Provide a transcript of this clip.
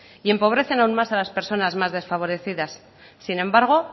y empobrecen aún más a las personas más desfavorecidas sin embargo